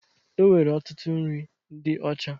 E nwere ọtụtụ nri ndị ocha